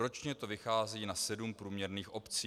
Ročně to vychází na sedm průměrných obcí.